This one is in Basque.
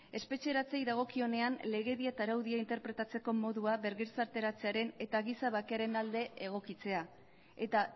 espetxeratzei dagokionean legedia eta araudia interpretatzeko modua bergizarteratzearen eta giza bakearen alde egokitzea eta